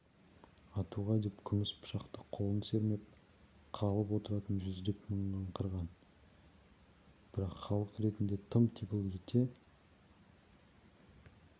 атуға деп күміс пышақты қолын сермеп қалып отыратын жүздеп мыңдап қырған бірақ халық ретінде тып-типыл ете